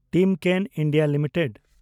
Timken India limited